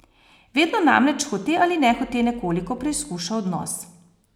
Vedno namreč hote ali nehote nekoliko preizkuša odnos.